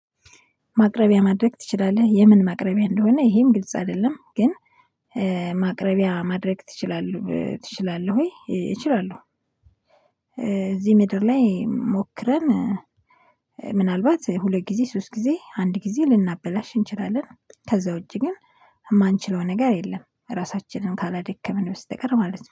ማቅረቢያ ማድረግ ትችላለህ የምን ማቅረቢያ እንደሆነ ይሄም ግልጽ አይደለም ግን ማቅረቢያ ማድረግ ትችላለህ ትችላለህ ወይ እችላለሁ? እዚህ ምድር ላይ ሞክረን። ምናልባት ሁለት ጊዜ ሶስት ጊዜ አንድ ጊዜ ልናበላሽ እንችላለን። ከዛ ውጪ ግን የማንችለው ነገር የለም ራሳችንን ካላደከምን በስተቀር ማለት ነው